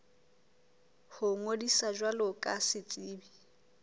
ho ngodisa jwalo ka setsebi